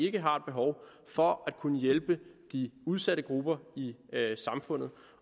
ikke har et behov for at kunne hjælpe de udsatte grupper i samfundet